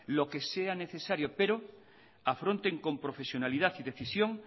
lo que sea necesario pero afronten con profesionalidad y decisión